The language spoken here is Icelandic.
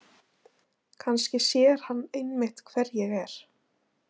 Kannski sér hann einmitt hver ég er.